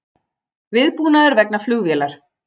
Viðbúnaður vegna flugvélar